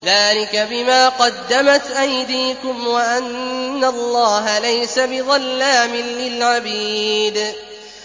ذَٰلِكَ بِمَا قَدَّمَتْ أَيْدِيكُمْ وَأَنَّ اللَّهَ لَيْسَ بِظَلَّامٍ لِّلْعَبِيدِ